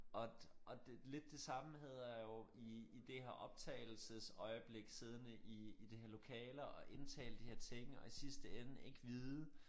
Og og det lidt det samme havde jeg jo i i det her optagelsesøjeblik siddende i i de her lokaler indtale de her ting og i sidste ende ikke vide